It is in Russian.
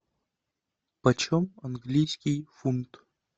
почем английский фунт